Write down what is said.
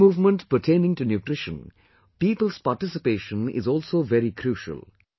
In this movement pertaining to nutrition, people's participation is also very crucial